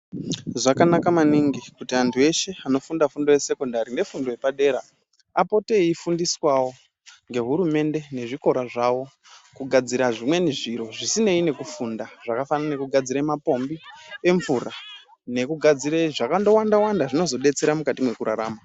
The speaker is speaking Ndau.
Zvakanaka maningi kuti antu eshe anofunda fundo yesekondari nefundo yepadera. Apote eifundiswavo ngehurumende nezvikora zvavo kugadzira zvimweni zviro zvisinei nei nekufunda. Zvakafanana nekugadzire mapombi emvura nekugadzire zvekandowanda-wanda zvinozobatsire mukati mwekurarama.